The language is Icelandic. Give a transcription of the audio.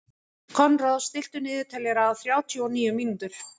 Konráð, stilltu niðurteljara á þrjátíu og níu mínútur.